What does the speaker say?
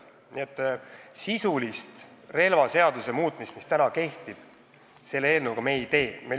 Nii et sisulist praeguse relvaseaduse muutmist me selle eelnõuga ei taotle.